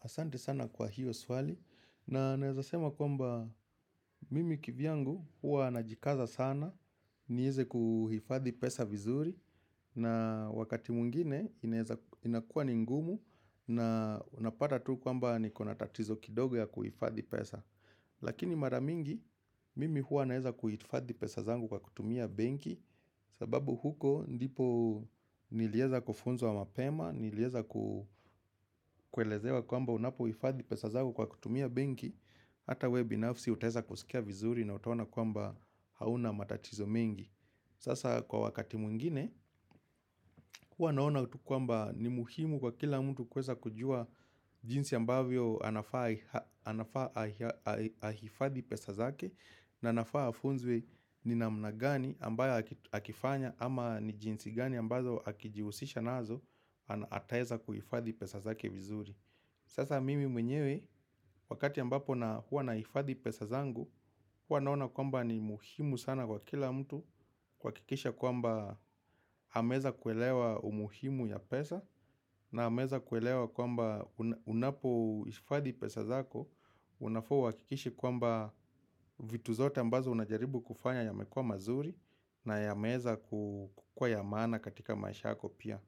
Asante sana kwa hilo swali na naweza sema kwamba mimi kivyangu huwa ninajikaza sana niweze kuhifadhi pesa vizuri na wakati mwngine inakuwa ni ngumu na unapata tu kwamba niko na tatizo kidogo ya kuhifadhi pesa. Lakini mara mingi mimi hua naweza kuhifadhi pesa zangu kwa kutumia benki sababu huko ndipo niliweza kufunzwa mapema Niliweza kuelezwa kwamba unapo hifadhi pesa zako kwa kutumia benki Hata wewe binafsi utaweza kusikia vizuri na utaoana kwamba hauna matatizo mengi Sasa kwa wakati mwingine huwa naona kwamba ni muhimu kwa kila mtu kuweza kujuwa jinsi ambavyo anafaa ahifadhi pesa zake na anafaa afunzwe ni namna gani ambayo akifanya ama ni jinsi gani ambazo akijihusisha nazo ataweza kuhifadhi pesa zake vizuri Sasa mimi mwenyewe wakati ambapo na huwa nahifadhi pesa zangu huwa naona kwamba ni muhimu sana kwa kila mtu kuhakikisha kwamba ameweza kuelewa umuhimu ya pesa na ameweza kuelewa kwamba unapo hifadhi pesa zako Unafaa uhakikishe kwamba vitu zote ambazo unajaribu kufanya yamekuwa mazuri na yameweza kukuwa ya maana katika maisha yako pia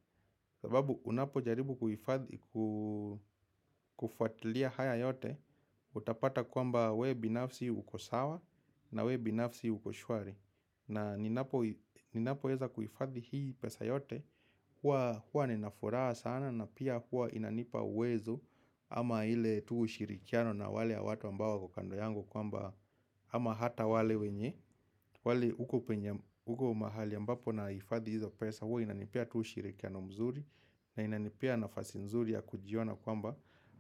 sababu unapo jaribu kufuatilia haya yote Utapata kwamba wewe binafsi uko sawa na wewe binafsi uko shwari na ninapo weza kuhifadhi hii pesa yote huwa nina furaha sana na pia hua inanipa uwezo Ama ile tu ushirikiano na wale watu ambao wako kando yangu kwamba ama hata wale wenye wale huko mahali ambapo na hifadhi hizo pesa huwa inanipea tu ushirikiano mzuri na inanipea nafasi nzuri ya kujiona kwamba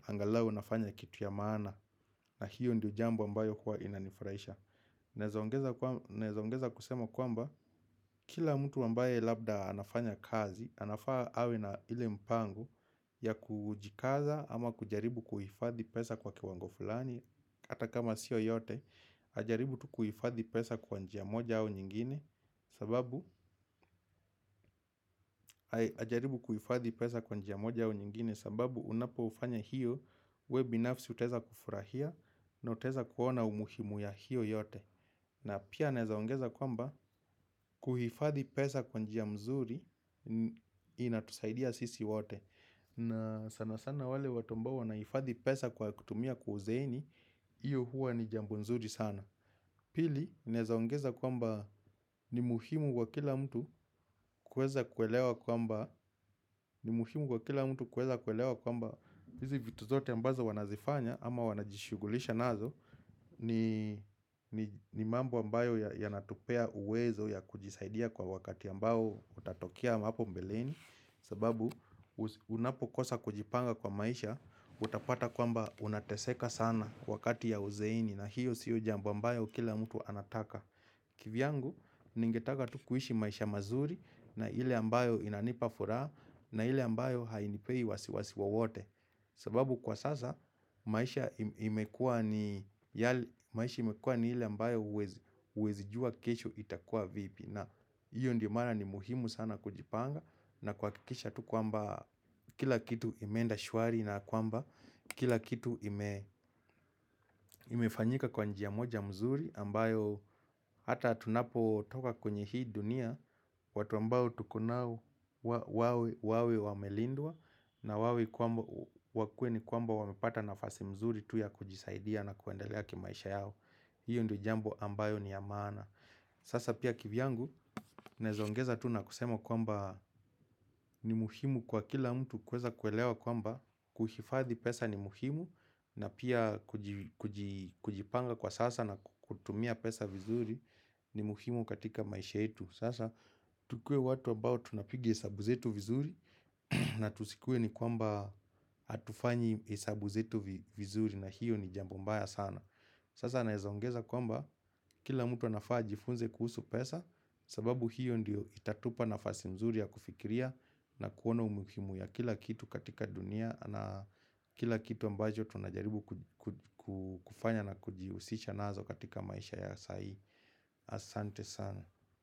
angalau nafanya kitu ya maana na hiyo ndio jambo ambayo hua inanifurahisha Naweza ongeza kusema kwamba Kila mtu ambaye labda anafanya kazi anafaa awe na ile mpango ya kujikaza ama kujaribu kuhifadhi pesa kwa kiwango fulani hata kama sio yote, ajaribu kuhifadhi pesa kwa njia moja au nyingine sababu, ajaribu kuhifadhi pesa kwa njia moja au nyingine sababu unapo ufanya hiyo, wewe binafsi utaweza kufurahia na utaweza kuona umuhimu ya hiyo yote na pia ninaweza ongeza kwamba, kuhifadhi pesa kwa njia mzuri Inatusaidia sisi wote na sana sana wale watu ambao wanahifadhi pesa kwa kutumia kwa uzeeni hiyo huwa ni jambo nzuri sana Pili, ninaweza ongeza kwamba ni muhimu kwa kila mtu kuweza kuelewa kwamba ni muhimu kwa kila mtu kuweza kuelewa kwamba hizi vitu zote ambazo wanazifanya ama wanajishugulisha nazo ni mambo ambayo yanatupea uwezo ya kujisaidia kwa wakati ambao utatokea hapo mbeleni sababu unapokosa kujipanga kwa maisha utapata kwamba unateseka sana wakati ya uzeeni na hiyo sio jambo ambayo kila mtu anataka kivyangu ningetaka tu kuishi maisha mazuri na ile ambayo inanipa furaha na ile ambayo hainipei wasiwasi wote sababu kwa sasa maisha imekuwa ni maisha imekuwa ni ile ambayo huwezi jua kesho itakuwa vipi na hiyo ndio maana ni muhimu sana kujipanga na kuhakikisha tu kwamba kila kitu imeenda shwari na kwamba kila kitu imefanyika kwa njia moja mzuri ambayo hata tunapo toka kwenye hii dunia watu ambao tuko nao wawe wamelindwa na wakuwe ni kwamba wamepata nafasi mzuri tu ya kujisaidia na kuendelea kimaisha yao hiyo ndio jambo ambayo ni ya maana Sasa pia kivyangu, ninaweza ongeza tu na kusema kwamba ni muhimu kwa kila mtu kuweza kuelewa kwamba kuhifadhi pesa ni muhimu na pia kujipanga kwa sasa na kutumia pesa vizuri ni muhimu katika maisha yetu. Sasa tukuwe watu ambao tunapiga hesabu zetu vizuri na tusikuwe ni kwamba hatufanyi hesabu zetu vizuri na hiyo ni jambo mbaya sana. Sasa ninaweza ongeza kwamba kila mtu anafaa ajifunze kuhusu pesa sababu hiyo ndiyo itatupea nafasi mzuri ya kufikiria na kuona umuhimu ya kila kitu katika dunia na kila kitu ambacho tunajaribu kufanya na kujihusisha nazo katika maisha ya sahii asante sana.